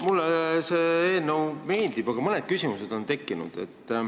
Mulle see eelnõu meeldib, aga mõned küsimused on tekkinud.